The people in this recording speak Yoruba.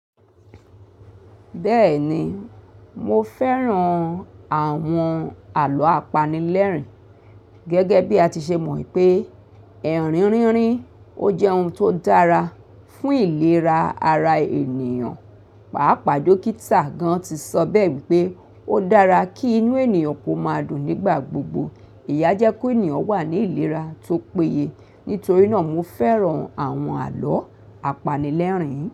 Bẹ́ẹ̀ni, mo fẹ́ràn àwọn àlọ́ apanilẹ́rìn gẹ́gẹ́ bí a ti ṣe mọ̀ pé, ẹ̀rínrínrín ó jẹ́ ohun tó dára fún ìlera ara ènìyàn. Pàápàá dókítà gan tí sọ bẹ́ẹ̀ wípé ó dára kí inú ènìyàn kó máa dùn nígbà gbogbo. Èyí a jẹ́ kó ènìyàn wà ní ìlera tó péye. Nítorí náà mo fẹ́ràn àwọn àlọ́ apanilẹ́rìn yẹn.